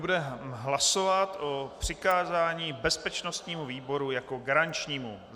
Budeme hlasovat o přikázání bezpečnostnímu výboru jako garančnímu.